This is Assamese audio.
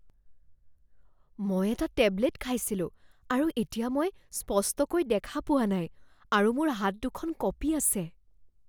মই এটা টেবলেট খাইছিলোঁ আৰু এতিয়া মই স্পষ্টকৈ দেখা পোৱা নাই আৰু মোৰ হাত দুখন কঁপি আছে।